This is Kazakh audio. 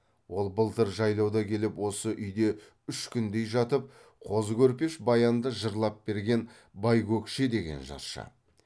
ол былтыр жайлауда келіп осы үйде үш күндей жатып қозы көрпеш баянды жырлап берген байкөкше деген жыршы